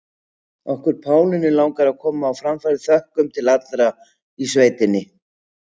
Okkur Pálínu langar að koma á framfæri þökkum til allra í sveitinni.